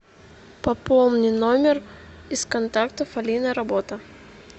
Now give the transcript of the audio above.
пополни номер из контактов алина работа